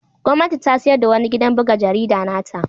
Gwamnati ta sayar da wani gidan buga jarida na ta.